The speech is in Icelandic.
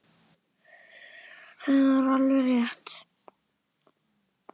Það var alveg rétt.